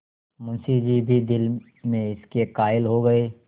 मुंशी जी भी दिल में इसके कायल हो गये